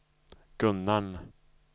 Gunnarn